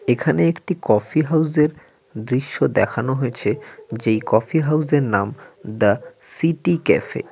এখানে একটি কফি হাউজের দৃশ্য দেখানো হয়েছে যেই কফি হাউজের নাম দা সিটি ক্যাফে ।